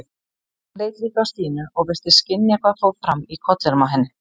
Hann leit líka á Stínu og virtist skynja hvað fór fram í kollinum á henni.